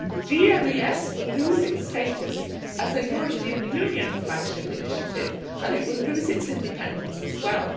GMES will lose its status as a European Union flagship initiative, and it will lose its independence as well.